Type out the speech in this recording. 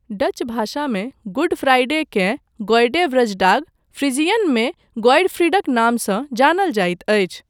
Dutch भाषामे good फ्राइडेकेँ गोएडे वृजडाग, फ्रीजियनमे गोएडफ्रीडक नामसँ जानल जाइत अछि।